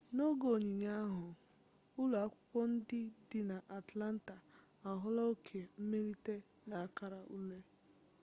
n'oge onyinye ahụ ụlọ akwụkwọ ndị dị na atlanta ahụla oke mmelite n'akara ule